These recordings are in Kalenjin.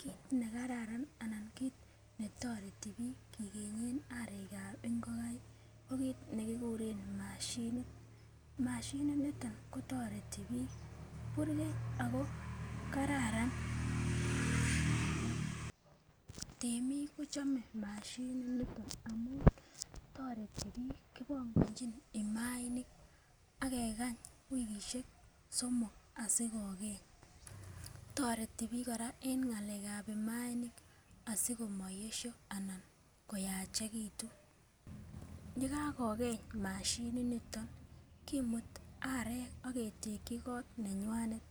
Kit nekararan anan kit netoreti bik kigenye arekab ingokaik ko kit nekikuren mashinit, mashinit niton kotoreti bik burgei ako kararan temik kochome mashinit niton amun toreti bik kipongochin imainik akekany wikishek somok asikogeny. Toreti bik koraa en ngalekab imainik asikomaoyesho anan koyachekitun, yekakogeny mashinit niton kimuti arek ak keteki kot nenywanet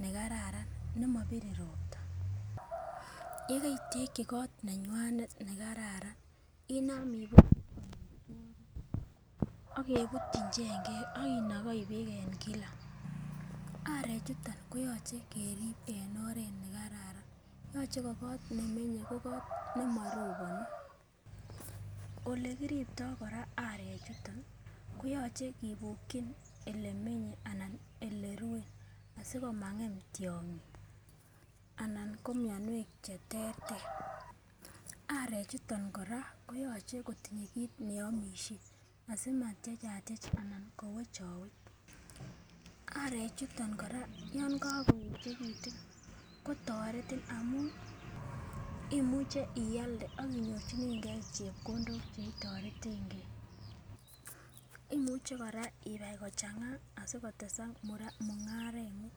ne kararan nemobire ropta, yekeiteki kot neywanet nekararan inam ak kebutyin chengek ak inogoi beek en kila. Arek chuto koyoche kerib en oret nekararan yoche ko kot nemenye ko kot nemoroboni. Olekiribto koraa arechuto koyoche kibukun ole menye anan ole rue asikomangem tyongik anan nko mionwek cheterter, arek chuton koraa koyoche kotindo kiit neomishen asimatyechatyech anan kowechowech. Arek chuton koraa yon kokoyechekitun kotoretin amun imuche ialde ak inyorchinegee chepkondok cheitoretengee, imuche koraa ibai kochanga asikotesak mungarengung.